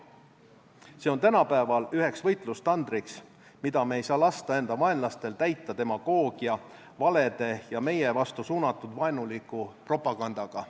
See on tänapäeval üheks võitlustandriks, mida me ei saa lasta enda vaenlastel täita demagoogia, valede ja meie vastu suunatud vaenuliku propagandaga.